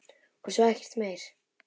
Og svo ekkert meir.